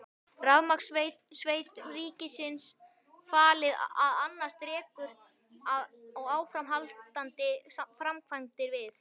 Rafmagnsveitum ríkisins falið að annast rekstur og áframhaldandi framkvæmdir við